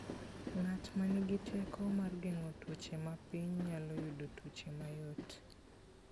Ng'at ma nigi teko mar geng'o tuoche mapiny nyalo yudo tuoche mayot.